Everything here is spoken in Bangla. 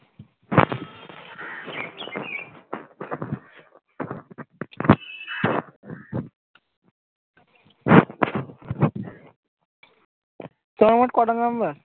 তোমার মোট কটা member?